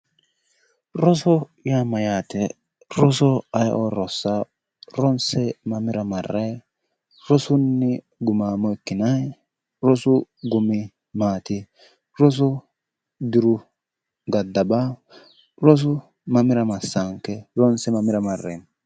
Roso yaa mayaate roso ayioo rosaawo ronse mamira marayi ronse gumaammo ikinayo rosu mamira masaanike ronse mamira mareemmo